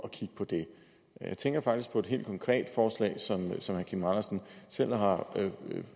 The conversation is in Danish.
at kigge på det jeg tænker faktisk på et helt konkret forslag som herre kim andersen selv har